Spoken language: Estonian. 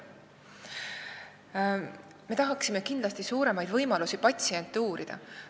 Me tahaksime suuremaid võimalusi patsientide uurimiseks.